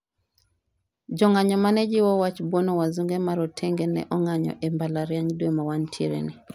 jong'anyo mane jiwo wach bwono wasunge ma rotenge ne ong'anyo e mbalariany dwe mawantie ni